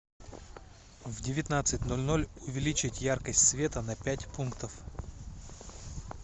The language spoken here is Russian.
в девятнадцать ноль ноль увеличить яркость света на пять пунктов